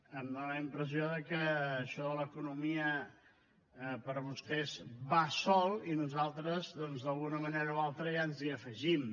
em fa la impressió que això de l’economia per vostès va sol i nosaltres doncs d’alguna manera o altra ens hi afegim